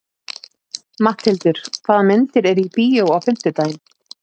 Matthildur, hvaða myndir eru í bíó á fimmtudaginn?